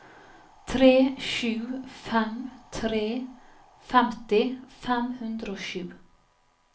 tre sju fem tre femti fem hundre og sju